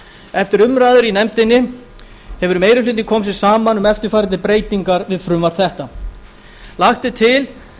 eftir umræður nefndarinnar hefur meiri hlutinn komið sér saman um eftirfarandi breytingar við frumvarp þetta lagt er til